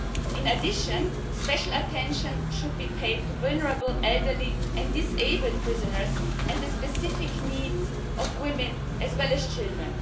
In addition, special attention should be paid to vulnerable, elderly and disabled prisoners and the specific needs of women as well as children.